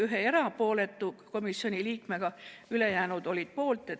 Jällegi oli üks komisjoni liige erapooletu, ülejäänud olid poolt.